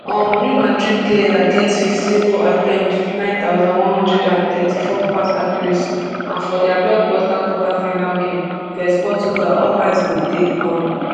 um real madrid player get fifteen goal attempts wit nine thousand, one hundred and thirty-four pass accuracy and for dia blockbuster quarterfinal game vs portugal all eyes go dey um